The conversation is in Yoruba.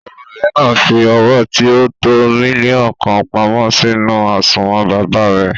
Ọmọbìnrin náà fi owó tí o tó mílíọ̀nù kan pamọ́ sínú àsùnwòn baba rẹ̀.